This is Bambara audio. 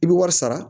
I bɛ wari sara